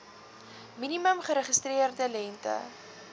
minimum geregistreerde lengte